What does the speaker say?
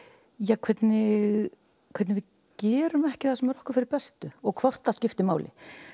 hvernig hvernig við gerum ekki það sem er okkur fyrir bestu og hvort það skiptir máli